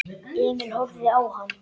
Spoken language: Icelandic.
Emil horfði á hann.